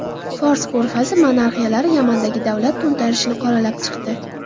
Fors ko‘rfazi monarxiyalari Yamandagi davlat to‘ntarishini qoralab chiqdi.